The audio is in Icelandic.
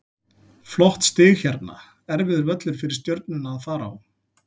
Flott stig hérna, erfiður völlur fyrir Stjörnuna að fara á.